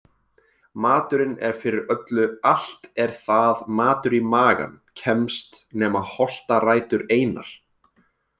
Maturinn er fyrir öllu allt er það matur í magann kemst nema holtarætur einar.